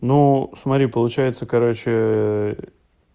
ну смотри получается короче